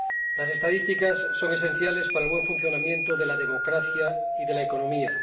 Las estadísticas son esenciales para el buen funcionamiento de la democracia y de la economía.